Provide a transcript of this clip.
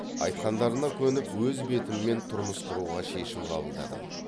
айтқандарына көніп өз бетіммен тұрмыс құруға шешім қабылдадым